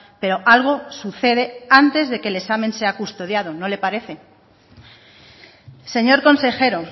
pero algo sucede antes de que el examen sea custodiado no le parece señor consejero